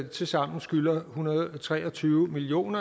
tilsammen skylder en hundrede og tre og tyve million